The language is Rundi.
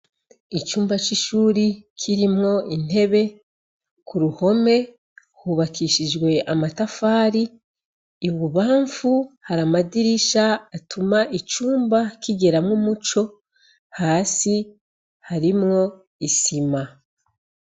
Icumba c'ishure kirimwo intebe, ku ruhome hubakishijwe amatafari, i bubamfu hari amadirisha atuma icumba kigiramwo umuco, hasi harimwo isima.